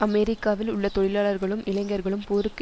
அமெரிக்காவில் உள்ள தொழிலாளர்களும் இளைஞர்களும் போருக்கு